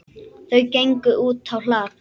Þau gengu útá hlað.